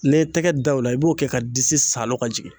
N'i ye tɛgɛ da o la, i b'o kɛ ka disi saalo ka jigin.